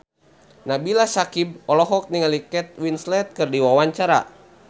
Nabila Syakieb olohok ningali Kate Winslet keur diwawancara